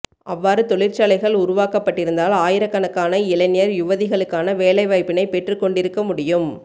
அவ்வாறு தொழிற்சாலைகள் உருவாக்கப்பட்டிருந்தால் ஆயிரக்கணக்கான இளைஞர் யுவதிகளுக்கான வேலைவாய்ப்பினை பெற்றுக் கொண்டிருக்க முடியும்